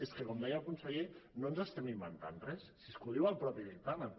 és que com deia el conseller no ens estem inventant res si és que ho diu el mateix dictamen